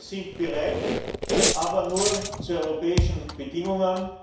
Wir sind bereit, aber nur zu europäischen Bedingungen.